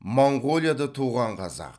моңғолияда туған қазақ